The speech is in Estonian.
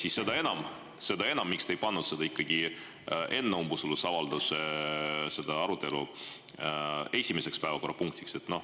Aga seda enam on küsimus, miks te ei pannud seda ikkagi enne umbusaldusavalduse arutelu esimeseks päevakorrapunktiks.